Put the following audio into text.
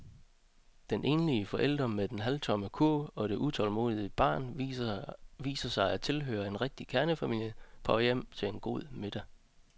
Den enlige forælder med den halvtomme kurv og det utålmodige barn viser sig at tilhøre en rigtig kernefamilie på vej hjem til en god middag.